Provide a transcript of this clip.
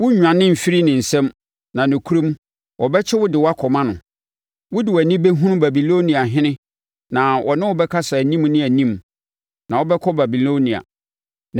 Worennwane mfiri ne nsam na nokorɛm wɔbɛkyere wo de wo akɔma no. Wo de wʼani bɛhunu Babiloniahene na ɔne wo bɛkasa anim ne anim. Na wobɛkɔ Babilonia.